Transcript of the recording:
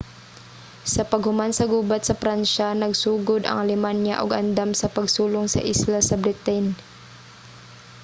sa paghuman sa gubat sa pransya nagsugod ang alemanya og andam sa pagsulong sa isla sa britain